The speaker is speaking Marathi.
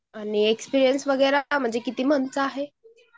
आणि एक्सपीरियन्स वगैरे किती मंथचा आहे